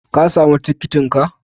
Ka sami tikitinka?